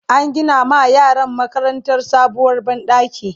an Gina ma yaran makarantar sabuwar banɗaki